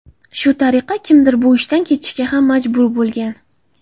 Shu tariqa kimdir bu ishdan ketishga ham majbur bo‘lgan.